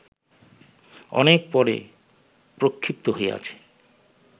অনেক পরে প্রক্ষিপ্ত হইয়াছে